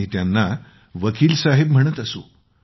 आम्ही त्यांना वकील साहेब म्हणत असू